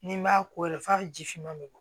Ni n b'a ko yɛrɛ f'a ka ji fiman bɛ bɔn